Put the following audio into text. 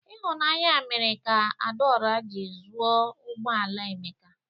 Ịhụnanya mere ka Adaora ji zụo ụgbọ ala Emeka.